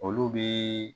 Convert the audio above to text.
Olu bi